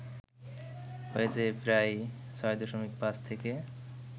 হয়েছে প্রায় ৬.৫ থেকে